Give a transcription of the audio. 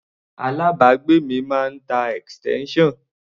Alábàágbé mi máa ń tá extension.